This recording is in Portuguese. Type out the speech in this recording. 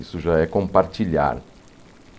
Isso já é compartilhar.